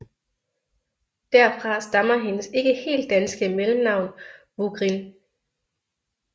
Derfra stammer hendes ikke helt danske mellemnavn Vugrin